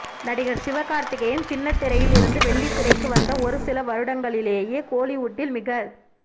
நடிகர் சிவகார்த்திகேயன் சின்னத்திரையில் இருந்து வெள்ளித்திரைக்கு வந்த ஒரு சில வருடங்களிலேயே கோலிவுட்டில் மிகச்